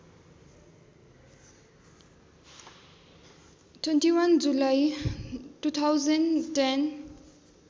२१ जुलाई २०१०